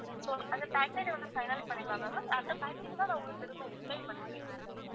so அந்த package வந்து final பண்ணிடலாம்ல ma'am அந்த package தான் நான் உங்களுக்கு திரும்ப explain பண்ணறேன்